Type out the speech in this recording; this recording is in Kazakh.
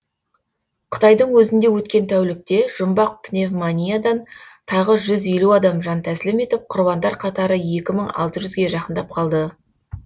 қытайдың өзінде өткен тәулікте жұмбақ пневмониядан тағы жүз елу адам жантәсілім етіп құрбандар қатары екі мың алты жүзге жақындап қалды